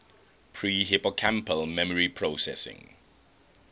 pre hippocampal memory processing